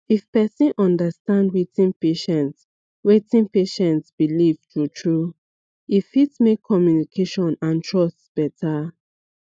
if person understand wetin patient wetin patient believe truetrue e fit make communication and trust better